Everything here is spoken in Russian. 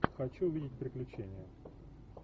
хочу увидеть приключения